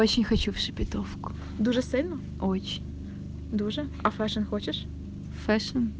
хочу всю петровку ой даже не хочешь